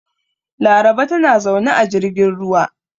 Laraba tana zaune a jirgin ruwa.